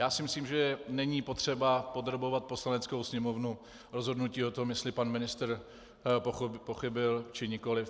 Já si myslím, že není potřeba podrobovat Poslaneckou sněmovnu rozhodnutí o tom, jestli pan ministr pochybil či nikoliv.